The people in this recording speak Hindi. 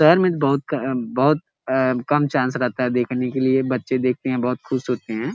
शहर में बहुत क-अ-बहुत अ-कम चान्स रहता है देखने के लिए। बच्चे देखते हैं बहु खुश होते हैं।